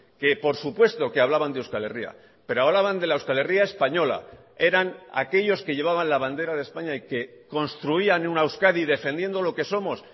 que por supuesto que hablaban de euskal herria pero hablaban de la euskal herria española eran aquellos que llevaban la bandera de españa y que construían una euskadi defendiendo lo que somos